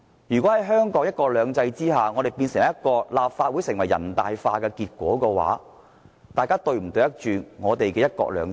如果香港在"一國兩制"下產生立法會"人大化"的結果，議員是否對得起"一國兩制"？